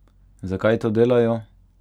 Zakaj to delajo?